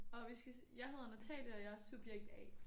Og vi skal sige jeg hedder Natalie og jeg er subjekt A